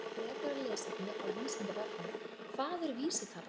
Frekara lesefni á Vísindavefnum: Hvað er vísitala?